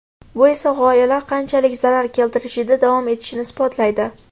Bu esa g‘oyalar qanchalik zarar keltirishida davom etishini isbotlaydi.